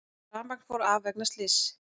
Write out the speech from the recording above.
Rafmagn fór af vegna slyss